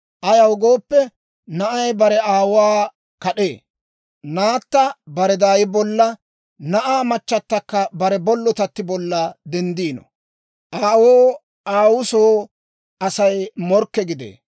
Ayaw gooppe, na'ay bare aawuwaa kad'ee; naatta bare daay bolla, na'aa machchatakka bare bollotatti bolla denddino; aawoo aawuu soo Asay morkke gidee.